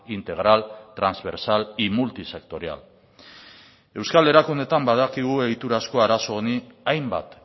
integral transversal y multisectorial euskal erakundeetan badakigu egiturazko arazo honi hainbat